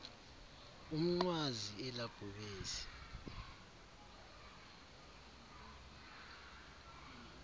umnqwazi ela bhubesi